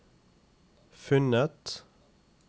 funnet